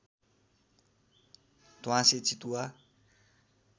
ध्वाँसे चितुवा